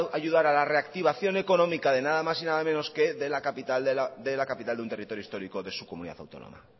ayudar a la reactivación económica de nada más y nada menos que de la capital de un territorio histórico de su comunidad autónoma